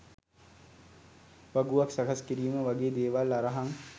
වගුවක් සකස් කිරීම වගේ දේවල් අරහං